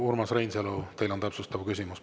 Urmas Reinsalu, teil on täpsustav küsimus.